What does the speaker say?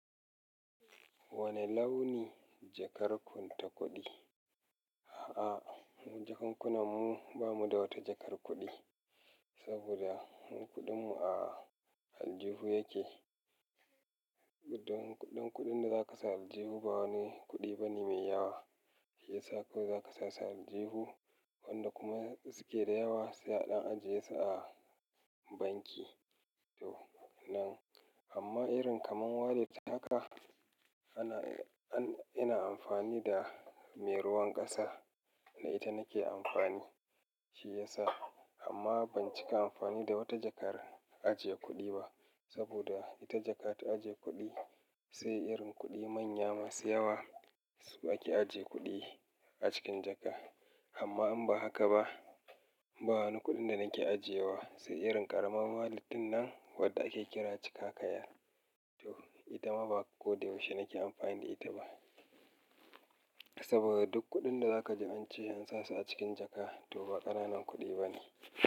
Wane launi jakar ku ta kuɗi? A'a, jakan kunan mu ba mu da wata jakar kuɗi, saboda mukunɗin mu a aljihu yake. Kuɗin, kuɗin da za ka sa a aljihu ba wani kuɗi ba ne mai yawa, shi ya sa kawai za ka sa aljihu, wanda kuma su ke da yawa sai a ɗan ajiye su a banki. To nan, amma irin kamar wallet haka ana, an, ina amfani da mai ruwan ƙasa, ita nake amfani, shi ya sa. Amma ban cika amfani da wata jakar ajiye kuɗi ba, saboda ita jaka ta ajiye kuɗi, sai irin kuɗi manya masu yawa, su ake ajiye kuɗi a cikin jaka. Amma in ba haka ba, ba wani kuɗin da nake ajiyewa, sai irin ƙaramar wallet ɗin nan wadda ake kira cika kayan. To ita ma ba ko da yaushe nake amfani da ita ba. Saboda duk kuɗin da za ka ji an ce an sa su a cikin jaka to ba ƙananan kuɗi ba ne.